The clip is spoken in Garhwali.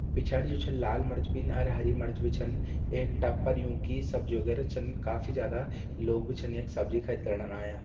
पिछाड़ि जु छ लाल मर्च बिन अर हरी मर्च बि छन। एक टब पर युं की सब्जी वगेरा चन। काफ़ी ज्यादा लोग बि छन यक सब्जी खरिदणन आयां।